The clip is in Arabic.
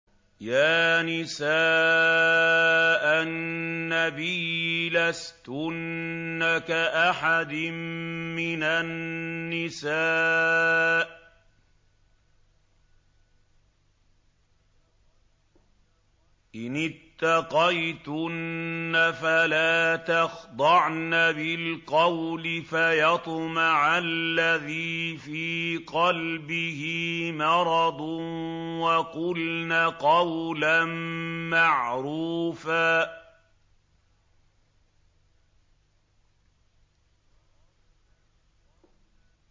يَا نِسَاءَ النَّبِيِّ لَسْتُنَّ كَأَحَدٍ مِّنَ النِّسَاءِ ۚ إِنِ اتَّقَيْتُنَّ فَلَا تَخْضَعْنَ بِالْقَوْلِ فَيَطْمَعَ الَّذِي فِي قَلْبِهِ مَرَضٌ وَقُلْنَ قَوْلًا مَّعْرُوفًا